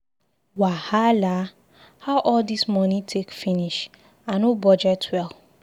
Wahala! How all this money take finish? I no budget well.